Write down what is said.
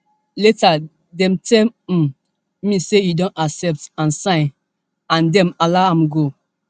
later dem tell um me say e don accept and sign and dem allow am to go